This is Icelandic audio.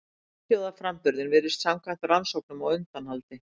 Einhljóðaframburðurinn virðist samkvæmt rannsóknum á undanhaldi.